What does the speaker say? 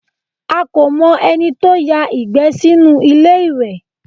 A kò mọ ẹni tó ya ìgbẹ́ sínú ilé ìwẹ̀